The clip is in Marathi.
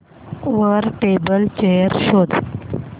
वर टेबल चेयर शोध